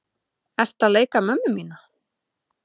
Ertu að leika mömmu mína?